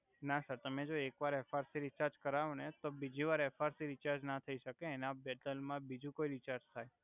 ના સર તમે જો એક વાર એફઆર થી રિચાર્જ કરાવો ને તો બીજી વાર તો બિજિ વાર એફઆર રીચાર્જ ન થઈ સકે એના ડેતલ મા બીજુ કોઈ રીચાર્જ થાય.